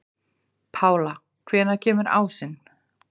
Pála, hvenær kemur ásinn?